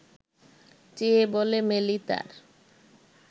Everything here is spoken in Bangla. চেয়ে বলে মেলি তার